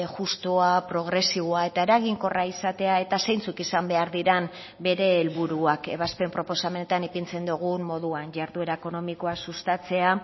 justua progresiboa eta eraginkorra izatea eta zeintzuk izan behar diren bere helburuak ebazpen proposamenetan ipintzen dugun moduan jarduera ekonomikoa sustatzea